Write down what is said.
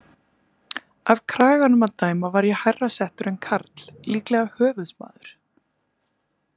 Af kraganum að dæma var ég hærra settur en Karl, líklega höfuðsmaður.